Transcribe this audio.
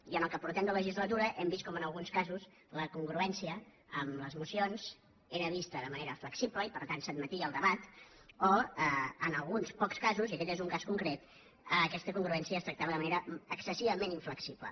i en aquesta legislatura hem vist com en alguns casos la congruència amb les mocions era vista de manera flexible i per tant s’admetia el debat i en alguns pocs casos i aquest és un cas concret aquesta congruència es tractava de manera excessivament inflexible